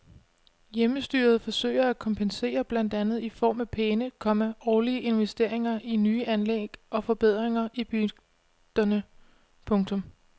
Hjemmestyret forsøger at kompensere blandt andet i form af pæne, komma årlige investeringer i nye anlæg og forbedringer i bygderne. punktum